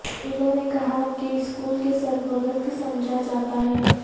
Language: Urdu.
انہوں نے کہا کہ اسکول کے سرپرست سمجھا جاتا ہے